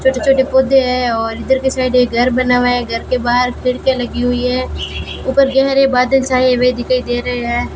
छोटे छोटे पौधे हैं और इधर के साइड एक घर बना हुआ है घर के बाहर खिड़कियां लगी हुई हैं ऊपर गहरे बादल छाए हुए दिखाई दे रहे है।